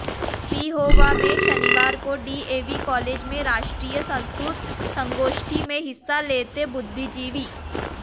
पिहोवा में शनिवार को डीएवी कॉलेज में राष्ट्रीय संस्कृत संगोष्ठी में हिस्सा लेते बुद्धिजीवी